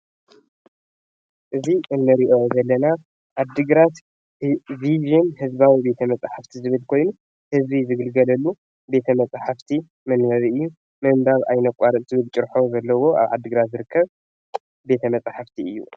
እዚ እንርእዮ ዘለና ዓድግራት ቭዥን ህዝባዊ ቤት መጻሕፍቲ ዝብል ኮይኑ ህዝቢ ዝግልግለሉ ቤት መጻሕፍቲ መንበቢ እዩ ምንባብ ኣይነቋርጽ ዝብል ጭርሖ ዘለዎ ኣብ ዓድግራት ዝርከብ ቤት መጻሕፍቲ እዩ።